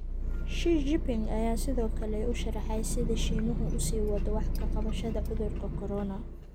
Xi-Jiping ayaa sidoo kale u sharxay sida Shiinuhu u sii wado wax ka qabashada cudurka corona.